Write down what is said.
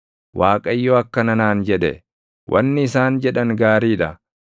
Waaqayyo akkana naan jedhe: “Wanni isaan jedhan gaarii dha.